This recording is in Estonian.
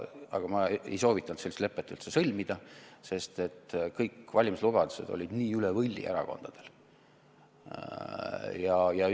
Aga ma ei soovitanud sellist lepet üldse sõlmida, sest kõik valimislubadused olid erakondadel nii üle võlli.